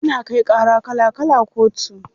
Ana kai ƙara kala kala kotu.